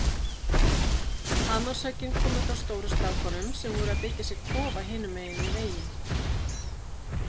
Hamarshöggin komu frá stóru strákunum sem voru að byggja sér kofa hinum megin við veginn.